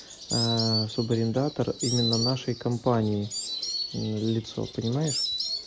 а субарендатор именно нашей компании лицо понимаешь